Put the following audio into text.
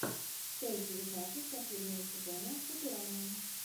часть девятнадцать последнего сезона футурама